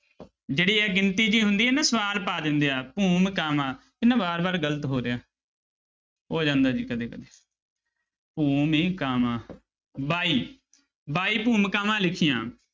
ਜਿਹੜੀ ਇਹ ਗਿਣਤੀ ਜਿਹੀ ਹੁੰਦੀ ਹੈ ਨਾ ਸਵਾਲ ਪਾ ਦਿੰਦੇ ਆ ਭੂਮਿਕਾਵਾਂ ਇਹ ਨਾ ਵਾਰ ਵਾਰ ਗ਼ਲਤ ਹੋ ਰਿਹਾ ਹੋ ਜਾਂਦਾ ਜੀ ਕਦੇ ਕਦੇ ਭੂਮਿਕਾਵਾਂ ਬਾਈ ਬਾਈ ਭੂਮਿਕਾਵਾਂ ਲਿਖੀਆਂ।